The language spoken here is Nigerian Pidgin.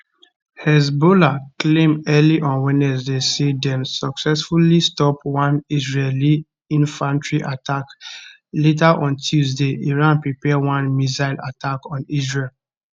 hezbollah claim early on wednesday say dem successfully stop one israeli infantry attack later on tuesday iran prepare one missile attack on israel